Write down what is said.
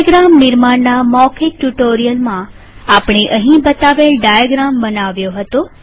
block diagram નિર્માણના મૌખિક ટ્યુ્ટોરીઅલમાંઆપણે અહીં બતાવેલ ડાયાગ્રામ બનવ્યો હતો